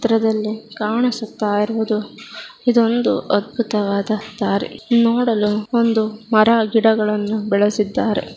ಹತ್ರದಲಿ ಕಾಣಿಸುತಾಯಿರುವುದು ಇದೊಂದು ಅದ್ಭುತವಾದ ತಾರೆ ನೋಡಲು ಒಂದು ಮರ ಗಿಡಗಳನು ಬೆಳೆಸಿದಾರೆ.